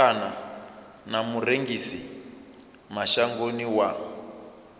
kana na murengisi mashangoni wa